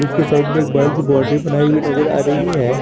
उसके साइड में एक बड़ा सी बाउंड्री बनाई हुई नजर आ रही है।